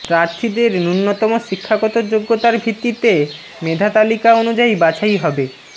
প্রার্থীদের ন্যূনতম শিক্ষাগত যোগ্যতার ভিত্তিতে মেধা তালিকা অনুযায়ী বাছাই হবে